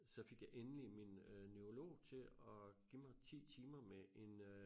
Så fik jeg endelig min øh neurolog til at give mig 10 timer med en øh